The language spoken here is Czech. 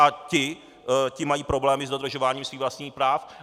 A ti mají problémy s dodržováním svých vlastních práv.